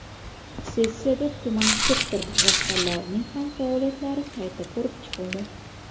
Sessiyada tuman sektor rahbarlarining ham faoliyatlari qayta ko‘rib chiqildi.